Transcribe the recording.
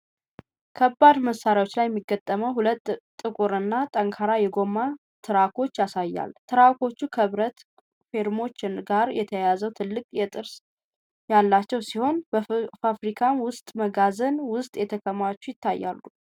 ከባድ መሣሪያዎች ላይ የሚገጠሙ ሁለት ጥቁር እና ጠንካራ የጎማ ትራኮችን ያሳያል። ትራኮቹ ከብረት ፍሬሞች ጋር ተያይዘው ትልቅ ጥርስ ያላቸው ሲሆን፣ በፋብሪካ ወይም መጋዘን ውስጥ ተከማችተው አይታዩም?